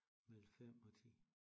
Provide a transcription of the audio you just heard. Mellem 5 og 10